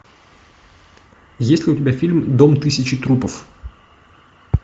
есть ли у тебя фильм дом тысячи трупов